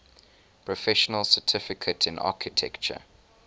professional certification in architecture